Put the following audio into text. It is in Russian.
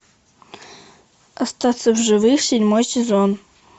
остаться в живых седьмой сезон